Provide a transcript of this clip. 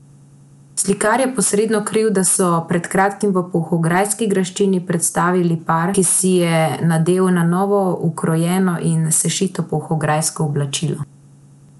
Slikar je posredno kriv, da so pred kratkim v polhograjski graščini predstavili par, ki si je nadel na novo ukrojeno in sešito polhograjsko oblačilo.